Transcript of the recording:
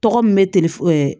Tɔgɔ min bɛ telefɔni